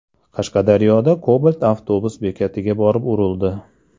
Qashqadaryoda Cobalt avtobus bekatiga borib urildi.